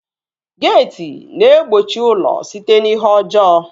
Geeti na-egbochi ụlọ site n'ihe ọjọọ